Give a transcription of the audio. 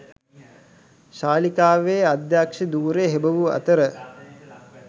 ශාලිකාවේ අධ්‍යක්ෂ ධුරය හෙබවූ අතර